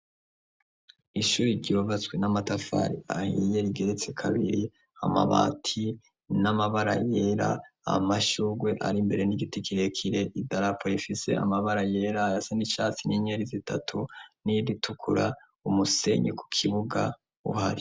Ishuri ryubatswe n'amatafari ahiye rigezetse kabiri, amabati n'amabara yera amashurwe ari imbere n'igiti kirekire i dalapo rifise amabara yera aya sa n'icatsi nyenyeri zitatu n'iyiritukura umusenyi ku kibuga uhari.